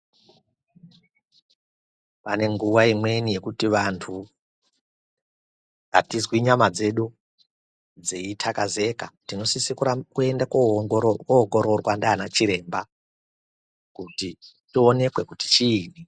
Pane nguva imweni yekuti vantu hatizwi nyama dzedu dzeitakazeka tinosise kuende kuoongorwa ndiana chiremba, kuti tionekwe kuti chini.